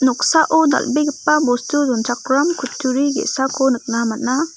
noksao dal·begipa bostu donchakram kutturi ge·sako nikna man·a.